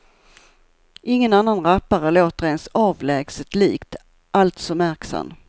Ingen annan rappare låter ens avlägset likt, alltså märks han.